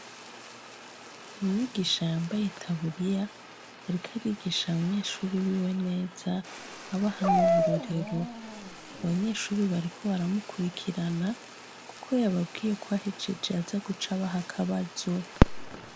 Umwigisha yambaye itaburiya yariko arigisha abanyeshure biwe neza abaha nuburorero abanyeshure bariko baramukurikirana kuko yababwiye ko ahejeje azaguca abaha akabazo